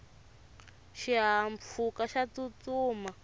xihahampfhuka xa tsutsuma